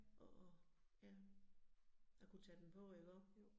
At ja, at kunne tage den på iggå